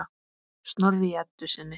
Snorri í Eddu sinni.